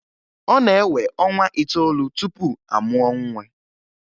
Ọ na-ewe ọnwa itoolu tupu amụọ nwa